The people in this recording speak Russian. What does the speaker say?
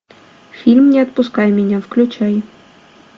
фильм не отпускай меня включай